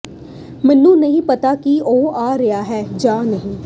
ਮੈਨੂੰ ਨਹੀਂ ਪਤਾ ਕਿ ਉਹ ਆ ਰਿਹਾ ਹੈ ਜਾਂ ਨਹੀਂ